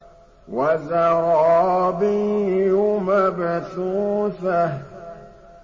وَزَرَابِيُّ مَبْثُوثَةٌ